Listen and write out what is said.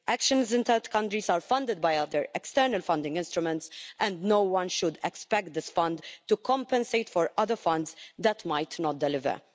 Actions in third countries are funded by other external funding instruments and no one should expect this Fund to compensate for other funds that might not deliver.